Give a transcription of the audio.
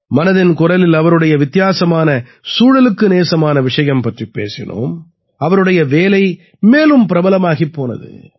மனதின் குரலில் அவருடைய வித்தியாசமான சூழலுக்கு நேசமான விஷயம் பற்றிப் பேசினோம் அவருடைய வேலை மேலும் பிரபலமாகிப் போனது